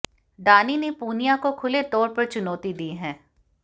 डानी ने पूनिया को खुले तौर पर चुनौती दी है